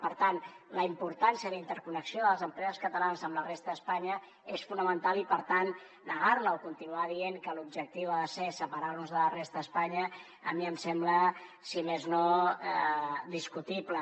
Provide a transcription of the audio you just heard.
per tant la importància la interconnexió de les empreses catalanes amb la resta d’espanya és fonamental i per tant negar la o continuar dient que l’objectiu ha de ser separar nos de la resta d’espanya a mi em sembla si més no discutible